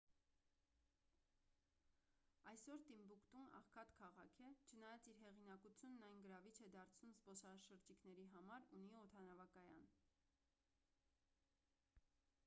այսօր տիմբուկտուն աղքատ քաղաք է չնայած իր հեղինակությունն այն գրավիչ է դարձնում զբոսաշրջիկների համար ունի օդանավակայան